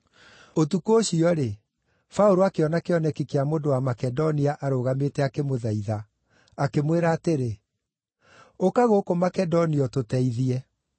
Ũtukũ ũcio-rĩ, Paũlũ akĩona kĩoneki kĩa mũndũ wa Makedonia arũgamĩte akĩmũthaitha, akĩmwĩra atĩrĩ, “Ũka gũkũ Makedonia ũtũteithie.”